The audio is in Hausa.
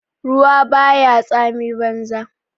Ruwa ba ya tsami banza.